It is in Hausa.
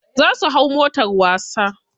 Za su hau motar wasa.